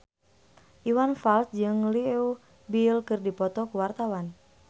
Iwan Fals jeung Leo Bill keur dipoto ku wartawan